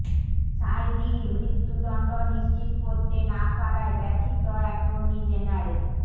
সাঈদীর মৃত্যুদণ্ড নিশ্চিত করতে না পারায় ব্যথিত অ্যাটর্নি জেনারেল